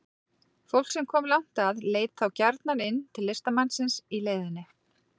Fólk sem kom langt að leit þá gjarnan inn til listamannsins í leiðinni.